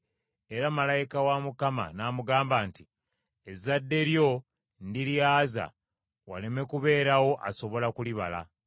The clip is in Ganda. Era Malayika n’amugamba nti, “Ezadde lyo ndiryaza waleme kubeerawo asobola kulibala.”